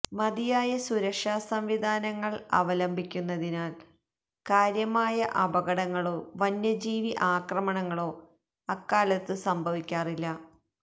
മതിയായ സുരക്ഷാ സംവിധാനങ്ങൾ അവലംബിക്കുന്നതിനാൽ കാര്യമായ അപകടങ്ങളോ വന്യജീവി ആക്രമണങ്ങളോ അക്കാലത്തു സംഭവിക്കാറില്ല